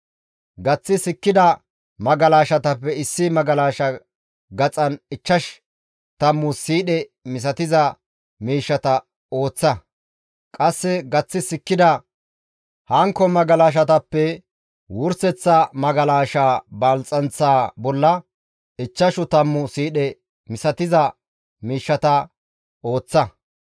Gaththi sikkida magalashatappe issi magalashaa gaxan ichchash tammu siidhe misatiza miishshata ooththa; qasse gaththi sikkida hankko magalashatappe wurseththa magalashaa balxxanththa bolla ichchash tammu siidhe misatiza miishshata ooththa.